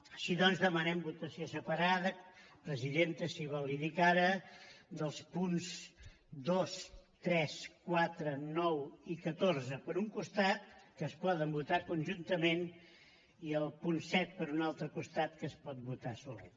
així doncs demanem votació separada presidenta si vol l’hi dic ara dels punts dos tres quatre nou i catorze per un costat que es poden votar conjuntament i el punt set per un altre costat que es pot votar solet